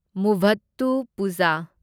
ꯃꯨꯚꯠꯇꯨꯄꯨꯓꯥ